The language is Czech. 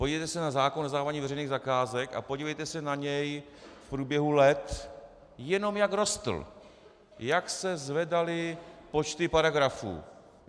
Podívejte se na zákon o zadávání veřejných zakázek a podívejte se na něj v průběhu let, jenom jak rostl, jak se zvedaly počty paragrafů.